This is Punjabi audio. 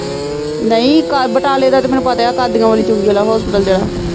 ਨਹੀਂ ਕਾ ਬਟਾਲੇ ਦਾ ਤਾਂ ਮੈਨੂੰ ਪਤਾ ਆ ਕਾਡੀਆ ਵਾਲੀ ਚੁੰਗੀ ਵਾਲਾ ਹੋਸਪੀਟਲ ਜਾ।